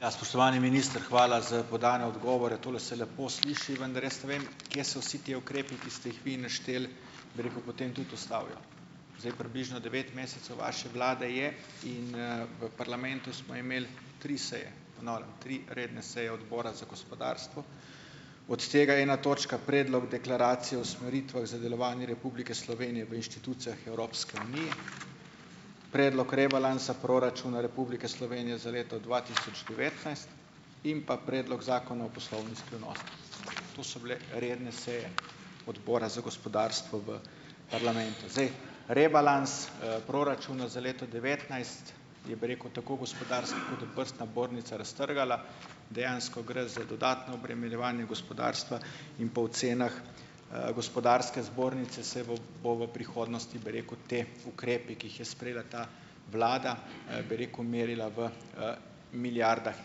Ja, spoštovani minister, hvala za podane odgovore. Tole se lepo sliši, vendar jaz vem, kje se vsi te ukrepi, ki ste jih vi našteli, bi rekel, potem tudi ustavijo. Zdaj približno devet mesecev vaše vlade je in, v parlamentu smo imeli tri seje, ponavljam tri redne seje odbora za gospodarstvo, od tega je ena točka predlog deklaracije o usmeritvah za delovanje Republike Slovenije v inštitucijah Evropske unije, predlog rebalansa proračuna Republike Slovenije za leto dva tisoč devetnajst in pa predlog Zakona o poslovni skrivnosti. To so bile redne seje Odbora za gospodarstvo v parlamentu. Zdaj, rebalans, proračuna za leto devetnajst je, bi rekel, tako gospodarska kot obrtna zbornica raztrgala. Dejansko gre za dodatno obremenjevanje gospodarstva in po ocenah, gospodarske zbornice se bo bo v prihodnosti, bi rekel, ti ukrepi, ki jih je sprejela ta vlada, bi rekel, merila v milijardah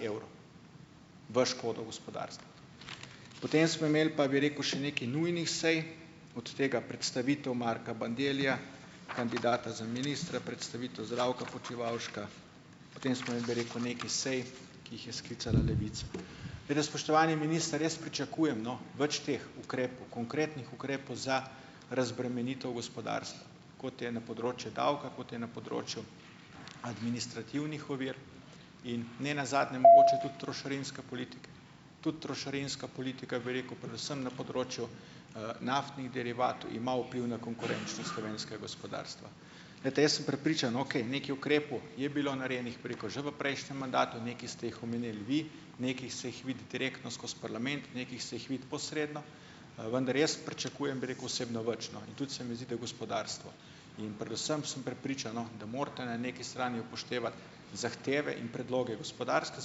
evrov v škodo gospodarstva. Potem smo imeli pa, bi rekel še, nekaj nujnih sej, od tega predstavitev Marka Bandellija, kandidata za ministra, predstavitev Zdravka Počivalška, potem smo imeli, bi rekel, nekaj sej, ki jih je sklicala Levica. Spoštovani minister, jaz pričakujem, no, več teh ukrepov, konkretnih ukrepov za razbremenitev gospodarstva, kot je na področju davka, kot je na področju administrativnih ovir in ne nazadnje mogoče tudi trošarinske politike. Tudi trošarinska politika, bi rekel, predvsem na področju, naftnih derivatov ima vpliv na konkurenčnost slovenskega gospodarstva. Glejte, jaz sem prepričan, okej, nekaj ukrepov je bilo narejenih preko že v prejšnjem mandatu, nekaj ste jih omenil vi, nekaj se jih vidi direktno skozi parlament, nekaj se jih vidi posredno. Vendar jaz pričakujem, bi rekel, osebno več, no, in ta se mi zdi, da gospodarstvo. In predvsem sem prepričan, no, da morate na nekaj strani upoštevati, zahteve in predloge gospodarske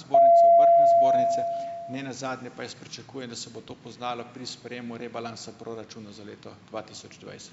zbornice, obrtne zbornice, ne nazadnje pa jaz pričakujem, da se bo to poznalo pri sprejemu rebalansa proračuna za leto dva tisoč dvajset.